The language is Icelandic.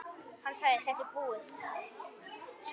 Hann sagði: Þetta er búið.